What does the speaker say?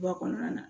Ba kɔnɔna na